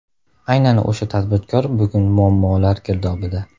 Aynan o‘sha tadbirkor bugun muammolar girdobida.